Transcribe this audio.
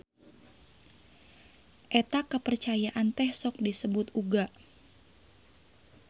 Eta kapercayaan teh sok disebut uga.